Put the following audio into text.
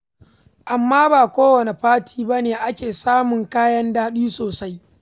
Amma ba kowane fati ba ne ake samun kayan daɗi sosai.